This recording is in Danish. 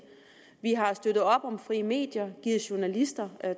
vi har støttet op om frie medier givet journalister